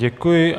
Děkuji.